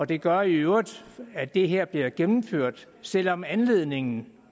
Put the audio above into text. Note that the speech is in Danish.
det gør i øvrigt at det her bliver gennemført selv om anledningen